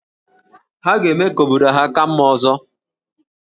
Ha ga-eme ka obodo ha ka mma ọzọ